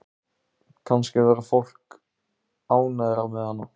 Kannski verður fólk ánægðara með hana.